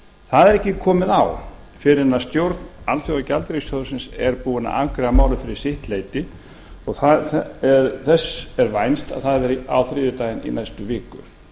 það er ekki komið á fyrr en stjórn alþjóðagjaldeyrissjóðsins er búin að afgreiða málið fyrir sitt leyti og þess er vænst að það verði á þriðjudaginn í næstu viku